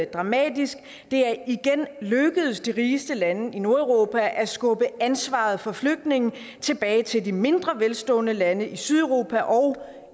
dramatisk det er igen lykkedes de rigeste lande i nordeuropa at skubbe ansvaret for flygtninge tilbage til de mindre velstående lande i sydeuropa og